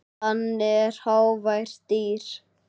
Hann er hávært dýr.